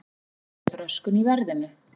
Þannig myndist röskun í verðinu.